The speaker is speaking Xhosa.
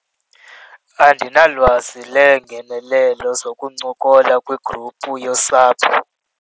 Andinalwazi leengenelelo zokuncokola kwigruphu yosapho.